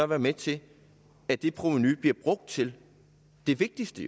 være med til at det provenu bliver brugt til det vigtigste